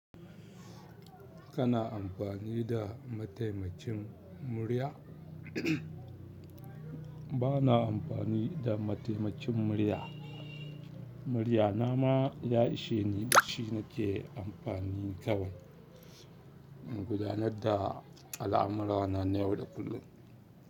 Kana amfani da mataimakin murya? Ba na amfani da mataimakin murya. Murya nama ya ishe ni, shi na ke amfani kawai. Gudanar da al'amurana na yau da kullum.